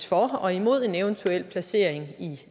for og imod en eventuel placering i